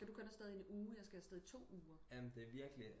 Skal du kun afsted i en uge jeg skal afsted i to uger